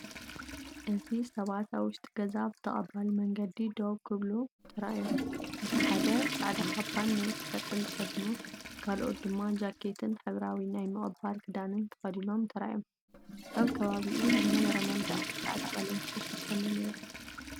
እዚ ሰባት ኣብ ውሽጢ ገዛ ብተቐባሊ መንገዲ ደው ክብሉ ተራእዮም። እቲ ሓደ ጻዕዳ ካባን ነዊሕ ጨርቂን ተኸዲኑ፡ ካልኦት ድማ ጃኬትን ሕብራዊ ናይ ምቕባል ክዳንን ተኸዲኖም ተራእዮም። ኣብ ከባቢኡ ዝነበረ መንደቕ ብጻዕዳ ቀለም ዝተሸፈነ'ዩ ነይሩ።